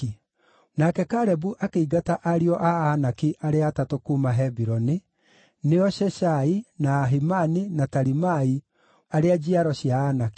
Nake Kalebu akĩingata Anaki arĩa atatũ kuuma Hebironi, nĩo Sheshai, na Ahimani, na Talimai, arĩa njiaro cia Anaki.